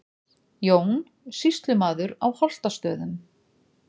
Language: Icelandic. Jón, sýslumaður á Holtastöðum.